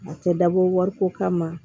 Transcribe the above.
A tɛ dabɔ wariko kama